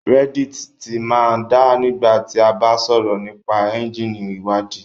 Reddit ti máa ń da nígbà tí a bá ń sọ̀rọ̀ nípa ẹ́ńjíìnì ìwádìí